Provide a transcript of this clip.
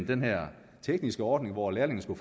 den her tekniske ordning hvor lærlingene